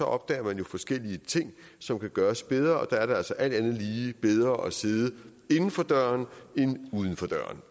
opdager man jo forskellige ting som kan gøres bedre og der er det altså alt andet lige bedre at sidde inden for døren end uden for døren